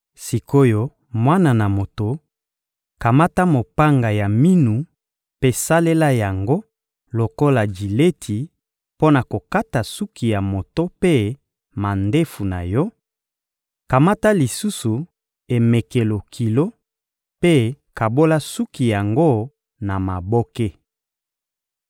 Sik’oyo, mwana na moto, kamata mopanga ya minu mpe salela yango lokola jileti mpo na kokata suki ya moto mpe mandefu na yo; kamata lisusu emekelo kilo mpe kabola suki yango na maboke.